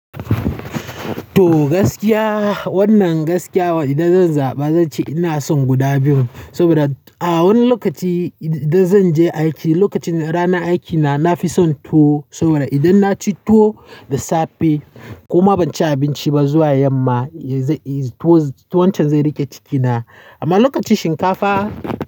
To gaskiya wannan gaskiya idan zan zaba zan ce ina son guda biyun. Saboda a wani lokaci idan zan je aiki lokacin rana aikina na fi son tuwo saboda idan na ci tuwo da safe kuma ban ci abinci ba zuwa yamma tuwon can zai riƙe cikina. Amma lokacin shinkafa.